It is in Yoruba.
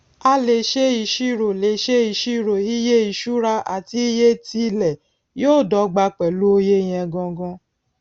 a lè ṣe ìṣírò lè ṣe ìṣírò iye ìṣura àti iye ti ilẹ yóò dọgba pẹlú oye yẹn gangan